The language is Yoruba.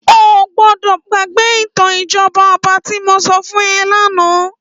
Óogbòdò gbàgbé itàn ijòbá òbá ti mó sò fún è làná